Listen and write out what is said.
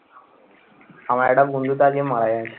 আমার একটা বন্ধু তো আজকে মারা গেছে।